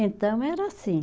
Então era assim.